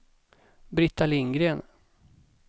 Brita Lindgren